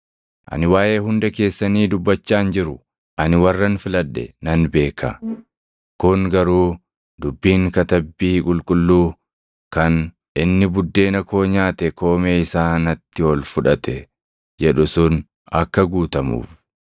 “Ani waaʼee hunda keessanii dubbachaa hin jiru; ani warran filadhe nan beeka. Kun garuu dubbiin Katabbii Qulqulluu kan, ‘Inni buddeena koo nyaate koomee isaa natti ol fudhate’ + 13:18 \+xt Far 41:9\+xt* jedhu sun akka guutamuuf.